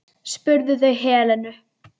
spurðu þau Helenu.